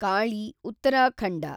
Kali , Uttarakhand